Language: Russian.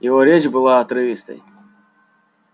его речь была отрывистой